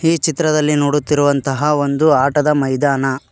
ಈ ಚಿತ್ರದಲ್ಲಿ ನೋಡುತ್ತಿರುವಂತಹ ಒಂದು ಆಟದ ಮೈದಾನ.